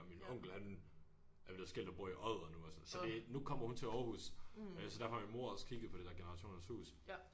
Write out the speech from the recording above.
Og min onkel han er blevet skilt og bor i Odder nu og sådan så det så nu kommer hun til Aarhus øh så derfor har min mor også kigget på det der generationernes hus